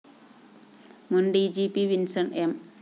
മുന്‍ D G P Vinson‍ M